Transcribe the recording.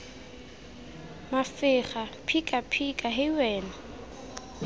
mafega phika phika hei wena